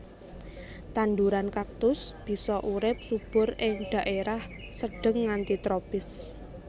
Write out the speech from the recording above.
Tandhuran kaktus bisa urip subur ing dhaerah sedeng nganti tropis